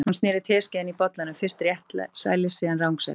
Hún sneri teskeiðinni í bollanum, fyrst réttsælis, síðan rangsælis.